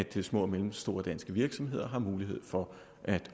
til at små og mellemstore danske virksomheder har mulighed for at